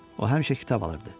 O həmişə kitab alırdı.